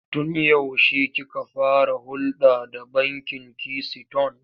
Tun yaushe kika fara hulɗa da bankin Kisiton?